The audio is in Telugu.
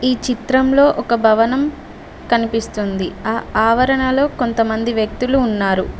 ఈ చిత్రంలో ఒక భవనం కనిపిస్తుంది ఆ ఆవరణలో కొంత మంది వ్యక్తులు ఉన్నారు.